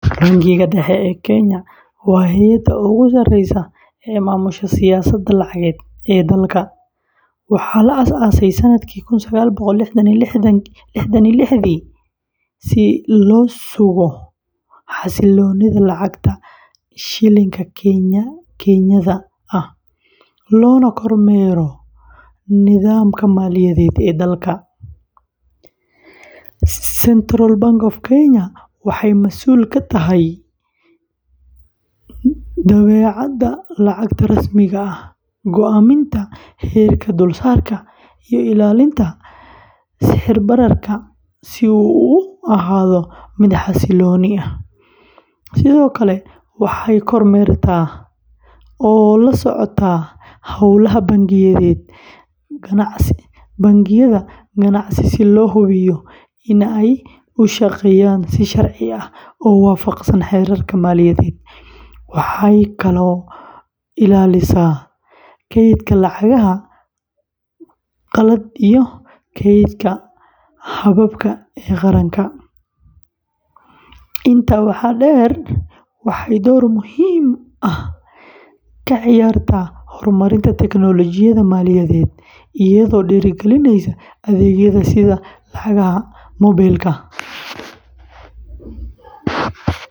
Bangiga Dhexe ee Kenya waa hay’adda ugu sarreysa ee maamusha siyaasadda lacageed ee dalka. Waxaa la aas aasay sanadkii kun sagaal boqol liixdan iyo liixdii, si loo sugo xasilloonida lacagta shilin-ka Kenyan-ka ah, loona kormeero nidaamka maaliyadeed ee dalka. CBK waxay masuul ka tahay daabacaadda lacagta rasmiga ah, go’aaminta heerka dulsaarka, iyo ilaalinta sicir-bararka si uu u ahaado mid xasiloon. Sidoo kale, waxay kormeertaa oo la socotaa hawlaha bangiyada ganacsi si loo hubiyo in ay u shaqeynayaan si sharci ah oo waafaqsan xeerarka maaliyadeed. Waxay kaloo ilaalisaa kaydka lacagaha qalaad iyo keydka dahabka ee qaranka. Intaa waxaa dheer, waxay door muhiim ah ka ciyaartaa horumarinta teknoolojiyadda maaliyadeed fintech, iyadoo dhiirrigelisa adeegyada sida lacagaha mobile-ka.